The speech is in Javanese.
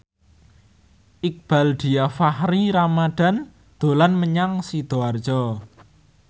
Iqbaal Dhiafakhri Ramadhan dolan menyang Sidoarjo